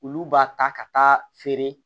Olu b'a ta ka taa feere